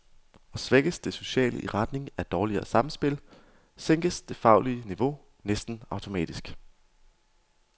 Og svækkes det sociale i retning af dårligere samspil, sænkes det faglige niveau næsten automatisk.